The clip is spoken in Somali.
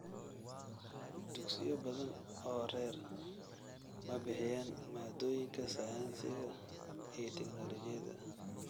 Dugsiyo badan oo rer ma bixiyaan maadooyinka sayniska iyo tignoolajiyada.